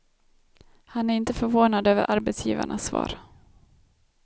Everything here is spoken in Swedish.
Han är inte förvånad över arbetsgivarnas svar.